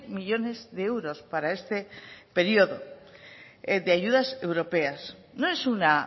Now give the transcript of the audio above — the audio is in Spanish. millónes de euros para este periodo de ayudas europeas no es una